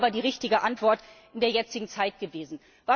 Das wäre aber die richtige Antwort in der jetzigen Zeit gewesen.